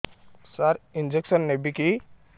ସାର injection ନେବିକି